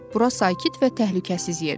Bura sakit və təhlükəsiz yerdir.